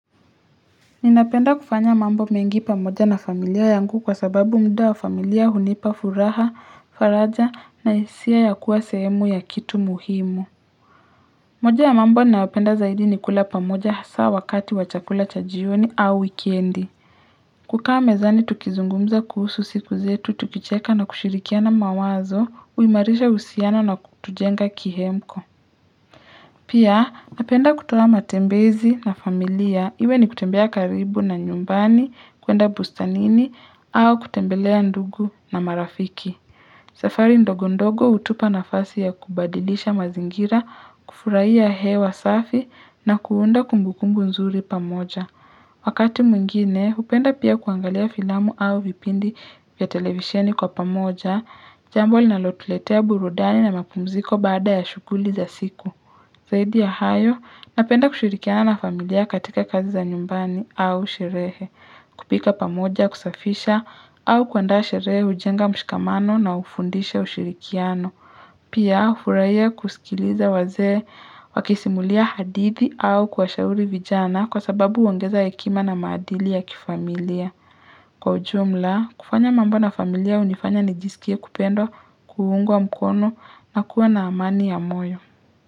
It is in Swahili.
Ninapenda kufanya mambo mengi pamoja na familia yangu kwa sababu muda wa familia hunipa furaha, faraja na hisia ya kuwa sehemu ya kitu muhimu. Moja ya mambo nayopenda zaidi ni kula pamoja hasaa wakati wa chakula cha jioni au weekendi. Kukaa mezani tukizungumza kuhusu siku zetu, tukicheka na kushirikiana mawazo, huimarisha uhusiana na kutujenga kihemko. Pia, napenda kutoa matembezi na familia, iwe ni kutembea karibu na nyumbani, kuenda bustanini, au kutembelea ndugu na marafiki. Safari ndogo ndogo hutupa nafasi ya kubadilisha mazingira, kufuraia hewa safi, na kuunda kumbukumbu nzuri pamoja. Wakati mwingine, hupenda pia kuangalia filamu au vipindi ya televisheni kwa pamoja, jambo linalotuletea burudani na mapumziko baada ya shughuli za siku. Zaidi ya hayo, napenda kushirikiana na familia katika kazi za nyumbani au sherehe, kupika pamoja kusafisha au kuandaa sherehe hujenga mshikamano na hufundisha ushirikiano. Pia, hufuraia kusikiliza wazee wakisimulia hadithi au kuwashauri vijana kwa sababu huongeza hekima na maadili ya kifamilia. Kwa ujumla, kufanya mambo na familia hunifanya nijisikie kupendwa kuungwa mkono na kuwa na amani ya moyo.